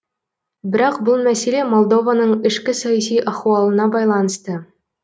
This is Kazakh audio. бірақ бұл мәселе молдованың ішкі саяси ахуалына байланысты